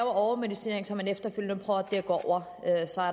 overmedicinering som man efterfølgende